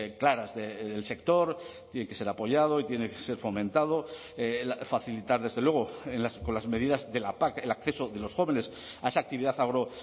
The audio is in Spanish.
claras del sector tiene que ser apoyado y tiene que ser fomentado facilitar desde luego con las medidas de la pac el acceso de los jóvenes a esa actividad agro